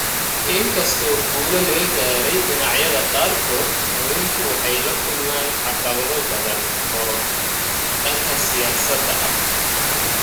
Inkastoo guulo laga gaaray dhinacyada qaarkood, haweenku waxay la kulmaan caqabado badan oo dhanka siyaasadda ah.